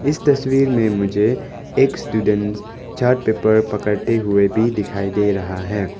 इस तस्वीर में मुझे एक स्टूडेंट चार्ट पेपर पकड़ते हुए भी दिखाई दे रहा है।